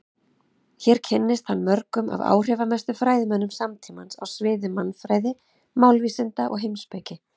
Hér kynntist hann mörgum af áhrifamestu fræðimönnum samtímans á sviði mannfræði, málvísinda og heimspeki.